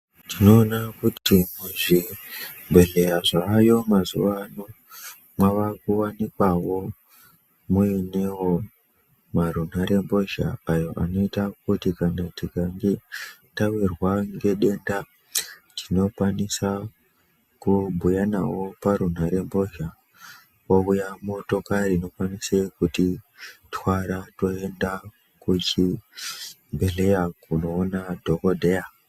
Tinoona kuti muzvibhedhleya zvayo mazuva ano mwavakuvanikwavo muinevo marunhare mbozha ayo anoita kuti kana tikange tavirwa ngedenda tinokwanisa kubhuya navo parunhare mbozha. Kouya motokari inokwanise kutitwara toenda kuchibhedhleya kunoona madhogodheya.